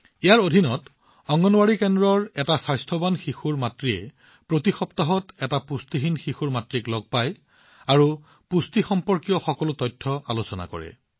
ইয়াৰ অধীনত অংগনৱাড়ী কেন্দ্ৰৰ এটা স্বাস্থ্যৱান সন্তানৰ মাতৃয়ে প্ৰতি সপ্তাহত পুষ্টিহীন শিশুৰ মাতৃক সাক্ষাৎ কৰে আৰু পুষ্টি সম্পৰ্কীয় সকলো তথ্যৰ আলোচনা কৰে